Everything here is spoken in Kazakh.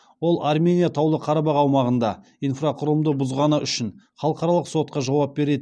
ол армения таулы қарабақ аумағында инфрақұрылымды бұзғаны үшін халықаралық сотта жауап береді